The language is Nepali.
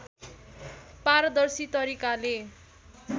पारदर्शी तरिकाले